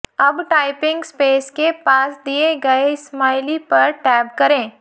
अब typing space के पास दिए गए स्माइली पर टैब करें